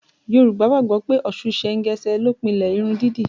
Yorùbá gbàgbọ́ pé Ọ̀ṣun sengese ló pilẹ̀ irun dídì